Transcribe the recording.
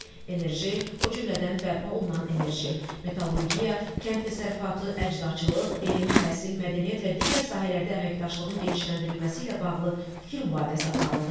Enerji, o cümlədən bərpa olunan enerji, metallurgiya, kənd təsərrüfatı, əczaçılıq, elm, təhsil, mədəniyyət və digər sahələrdə əməkdaşlığın genişləndirilməsi ilə bağlı fikir mübadiləsi aparıldı.